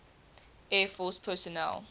air force personnel